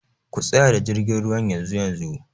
Ku tsayar da jirgin ruwan yanzu-yanzu!.